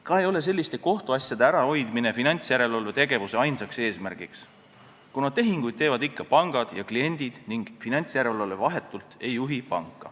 Ka ei ole selliste kohtuasjade ärahoidmine finantsjärelevalve tegevuse ainus eesmärk, kuna tehinguid teevad ikka pangad ja kliendid ning finantsjärelevalve vahetult panka ei juhi.